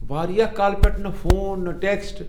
واریاہ کالہٕ پٮ۪ٹھ نہ فون نہٕ ٹیكسٹ ۔